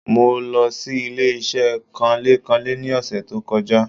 Mo lo sí ilé-isé kanlé-kanlé ni òsè tó kojá